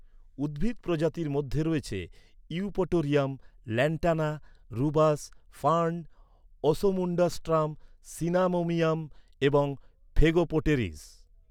উদ্ভিদ প্রজাতির মধ্যে রয়েছে Eupatorium, Lantana, Rubus, fern, Osmundastrum Cinnamomum এবং ফেগোপটেরিস।